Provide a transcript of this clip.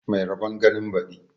Mai rabon ganin badi